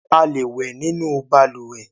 A le wẹ̀ nínú balùwẹ́